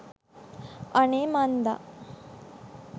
අනේ මන්ද